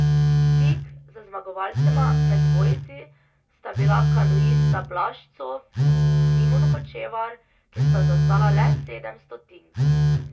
Tik za zmagovalcema med dvojci sta bila kanuista Blaž Cof in Simon Hočevar, ki sta zaostala le sedem stotnik.